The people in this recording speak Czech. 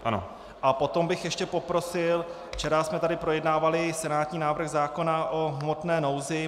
A potom bych ještě poprosil - včera jsme tady projednávali senátní návrh zákona o hmotné nouzi.